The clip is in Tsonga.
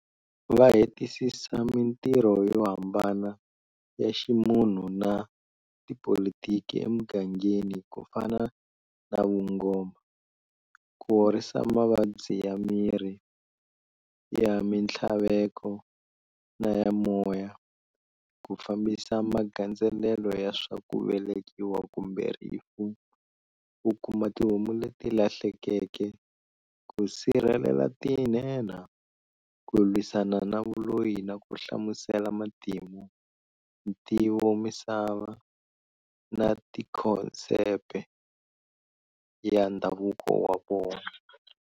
Va hetisisa mintirho yo hambana ya ximunhu na tipolitiki emugangeni ku fana na vungoma, ku horisa mavabyi ya miri, ya mintlhaveko, na ya moya, ku fambisa magandzelelo ya swa ku velekiwa kumbe rifu, ku kuma tihomu leti lahlekeke, ku sirhelela tinhenha, ku lwisana na vuloyi na ku hlamusela matimu, ntivomisava, na tikhonsepe, matheme, ya ndhavuko wa vona.